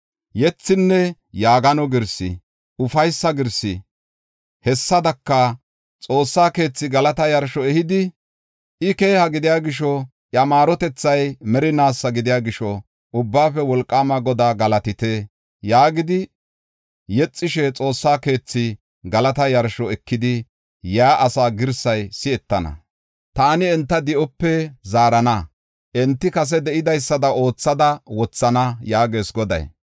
Yethinne Yaagano girsi, ufaysa girsi, hessadaka, xoossa keethi galata yarsho ehidi, “I keeha gidiya gisho, iya maarotethay merinaasa gidiya gisho, Ubbaafe Wolqaama Godaa galatite. yaagidi yexishe xoossa keethi galata yarsho ekidi yaa asaa girsay si7etana. Taan enta di7ope zaarana; enti kase de7idaysada oothada wothana” yaagees Goday.